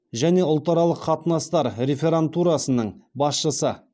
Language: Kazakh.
және ұлтаралық қатынастар реферантурасының басшысы